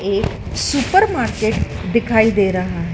एक सुपरमार्केट दिखाई दे रहा--